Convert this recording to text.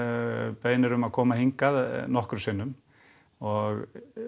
beiðnir um að koma hingað nokkrum sinnum og